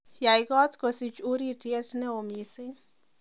yai koot kosich urityet neo missing